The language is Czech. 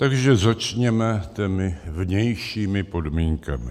Takže začněme těmi vnějšími podmínkami.